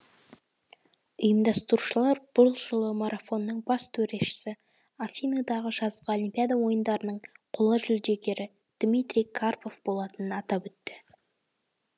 ұйымдастырушылар бұл жылы марафонның бас төрешісі афиныдағы жазғы олимпиада ойындарының қола жүлдегері дмитрий карпов болатынын атап өтті